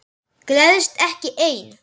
Gleðst ekki ein.